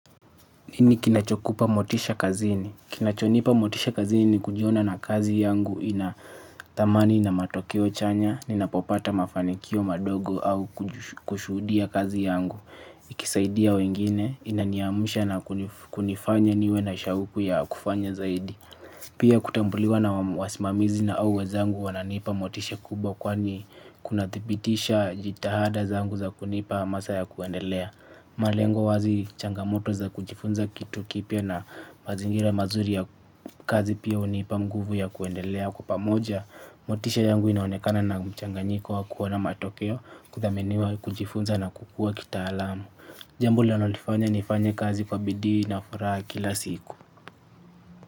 Nini kinachokupa motisha kazini. Kinachonipa motisha kazini ni kujiona na kazi yangu ina thamani na matokeo chanya. Ninapopata mafanikio madogo au kushuhudia kazi yangu. Ikisaidia wengine inaniamsha na kunifanya niwe na shauku ya kufanya zaidi. Pia kutambuliwa na wasimamizi na au wezangu wananipa motisha kubwa kwani kunathibitisha jitahada zangu za kunipa hamasa ya kuendelea. Malengo wazi changamoto za kujifunza kitu kipya na mazingira mazuri ya kazi pia hunipa nguvu ya kwendelea kwa pamoja. Motisha yangu inaonekana na mchanganyiko wa kuona matokeo kuthaminiwa kujifunza na kukua kitaalamu. Jambo linalonifanya nifanya nifanye kazi kwa bidii na furaha kila siku.